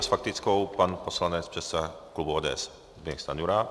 A s faktickou pan poslanec předseda klubu ODS Zbyněk Stanjura.